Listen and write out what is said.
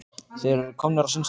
Þeir eru komnir á sinn stað.